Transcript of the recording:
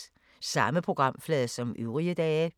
Samme programflade som øvrige dage